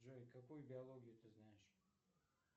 джой какую биологию ты знаешь